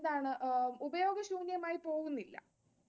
എന്താണ് ഉപയോഗശൂന്യമായി പോവുന്നില്ല.